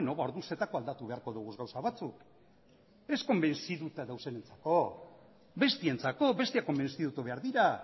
orduan zertako aldatu beharko dugu gauza batzuk ez konbentzituta gaudenontzako besteontzako besteak konbentzitu behar dira